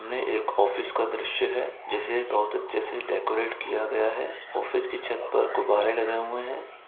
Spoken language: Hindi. में एक ऑफिस का दृश्य है जिसे बहुत अच्छे से डेकोरेट किया गया है ऑफिस की छत पर गुब्बारे लगे हुए हैं।